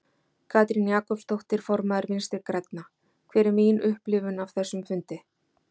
Katrín Jakobsdóttir, formaður Vinstri grænna: Hver er mín upplifun af þessum fundi?